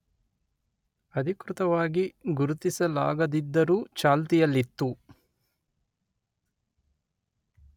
ಅಧಿಕೃತವಾಗಿ ಗುರುತಿಸಲಾಗದಿದ್ದರೂ ಚಾಲ್ತಿಯಲ್ಲಿತ್ತು